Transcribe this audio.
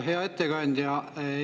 Hea ettekandja!